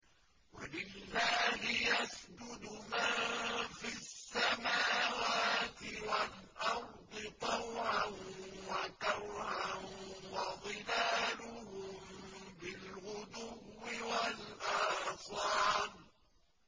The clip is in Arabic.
وَلِلَّهِ يَسْجُدُ مَن فِي السَّمَاوَاتِ وَالْأَرْضِ طَوْعًا وَكَرْهًا وَظِلَالُهُم بِالْغُدُوِّ وَالْآصَالِ ۩